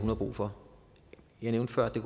har brug for jeg nævnte før at det